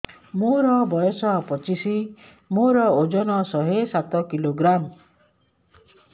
ମୋର ବୟସ ପଚିଶି ମୋର ଓଜନ ଶହେ ସାତ କିଲୋଗ୍ରାମ